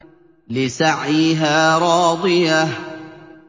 لِّسَعْيِهَا رَاضِيَةٌ